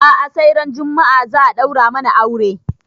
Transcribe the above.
A'a sai ran juma'a za a ɗaura mana aure